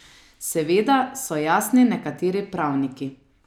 Seveda, so jasni nekateri pravniki.